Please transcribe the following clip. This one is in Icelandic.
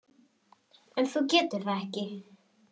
En þú getur það ekki.